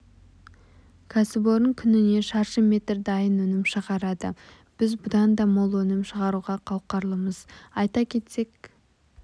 кәсіпорын күніне шаршы метр дайын өнім шығарады біз бұдан да мол өнім шығаруға қауқарлымыз айта кетсек